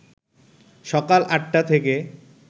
সকাল ৮টা থেকে